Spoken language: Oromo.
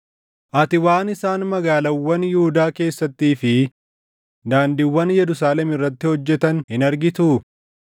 Ati waan isaan magaalaawwan Yihuudaa keessattii fi daandiiwwan Yerusaalem irratti hojjetan hin argituu?